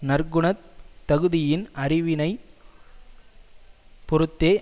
நற்குணத் தகுதியின் அறிவினை பொறுத்தே